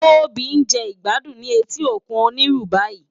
Tobi n je igbàdún ni éti ókún ónirú bàyí